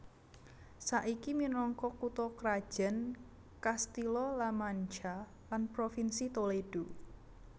Saiki minangka kutha krajan Castilla La Mancha lan provinsi Toledo